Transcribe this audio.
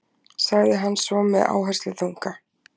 sagði hann svo með áhersluþunga.